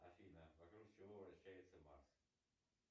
афина вокруг чего вращается марс